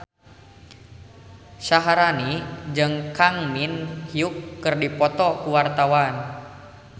Syaharani jeung Kang Min Hyuk keur dipoto ku wartawan